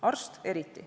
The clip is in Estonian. Arst eriti.